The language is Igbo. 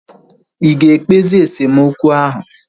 Ịga ekpezi esemokwu ahu?